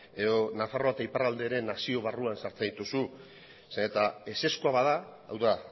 edo nafarroa eta iparraldea ere nazio barruan sartzen dituzu zeren eta ezezkoa bada hau da